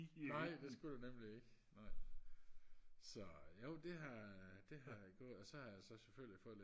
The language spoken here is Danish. nej det skulle der nemlig ikke nej så jo det har det har jeg gjort og så har jeg selvfølgelig fået lidt